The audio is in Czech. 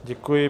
Děkuji.